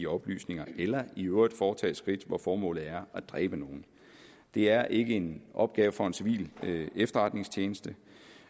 oplysninger eller i øvrigt foretage skridt hvor formålet er at dræbe nogen det er ikke en opgave for en civil efterretningstjeneste